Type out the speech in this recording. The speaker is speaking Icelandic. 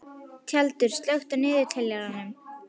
Tjaldur, slökktu á niðurteljaranum.